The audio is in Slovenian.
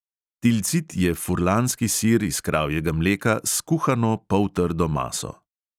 Tilcit je furlanski sir iz kravjega mleka s kuhano poltrdo maso.